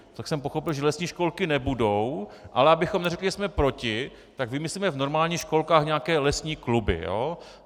Tak jsem pochopil, že lesní školky nebudou, ale abychom neřekli, že jsme proti, tak vymyslíme v normálních školkách nějaké lesní kluby.